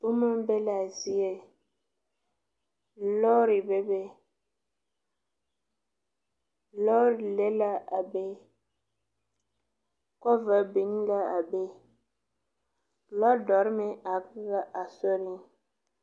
Boma be la a zie lɔri bebe lɔri le la a be kɔva biŋ la a be lɔdɔrI meŋ are la a be.